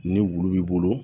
Ni wulu b'i bolo